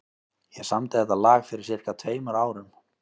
Ég samdi þetta lag fyrir sirka tveimur árum.